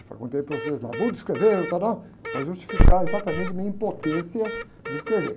Eu perguntei para vocês lá, bom de escrever, não está, não, para justificar exatamente a minha impotência de escrever.